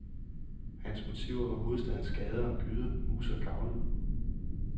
Hans motiver var hovedstadens gader og gyder, huse og gavle.